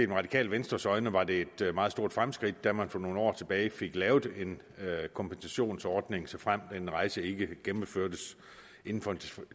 det radikale venstres øjne var det et meget stort fremskridt da man for nogle år tilbage fik lavet en kompensationsordning såfremt en rejse ikke gennemførtes inden for en